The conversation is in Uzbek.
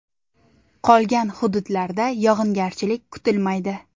Qolgan hududlarda yog‘ingarchilik kutilmaydi.